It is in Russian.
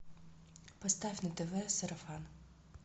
поставь на тв сарафан